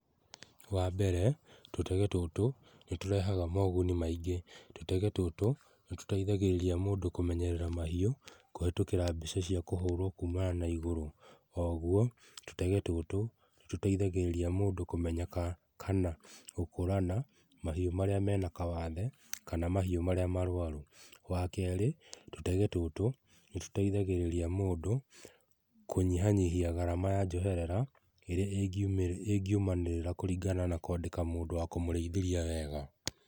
Wambere tũtege tũtũ nĩtũrehaga moguni maingĩ, tũtege tũtũ nĩtũteithagĩrĩria mũndũ kũmenyerera mahiũ kũhetũkĩra mbica cia kumana na igũrũ, oho tũtege tũtũ nĩtũteithagĩrĩria mũndũ kũmenya kana gũkũrana mahiũ marĩa mena kawathe kana mahiũ maria marwaru. Wakeri tũtege tũtũ nĩtũteihagirĩria mũndũ kũnyihia garama ya njoherera ĩrĩa ĩngiumanĩrĩra na kwandĩka mũndũ wa kũmũrĩithĩria wega.